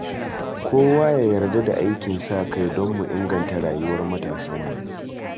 Kowa ya yarda da aikin sa-kai don mu inganta rayuwar matasanmu.